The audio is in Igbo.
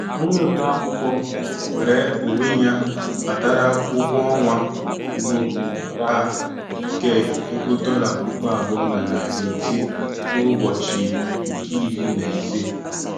Onye ode akwụkwọ nweere onwe ya natara ụgwọ ọnwa mbụ ya nke ego dọla puku abụọ na narị ise n'ụbọchị nke iri na ise.